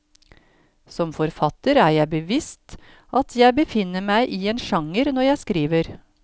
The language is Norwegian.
Som forfatter er jeg bevisst at jeg befinner meg i en sjanger når jeg skriver.